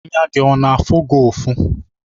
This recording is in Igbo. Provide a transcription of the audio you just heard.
Anya gị ọ na-afụ gị ufọ?